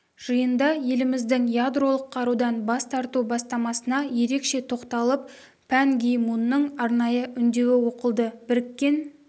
жиында еліміздің ядролық қарудан бас тарту бастамасына ерекше тоқталып пан ги мунның арнайы үндеуі оқылды біріккен